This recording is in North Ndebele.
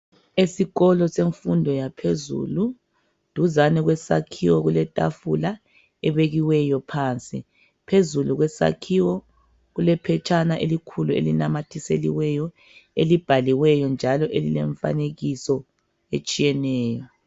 Esikolo semfundo yaphezulu, duzane kwesakhiwo kuletafula ebekiweyo phansi, phezulu kwesakhiwo kulephetshana elikhulu elinamathiseliweyo ebhaliweyo njalo lilemfanekiso etshiyeneyo.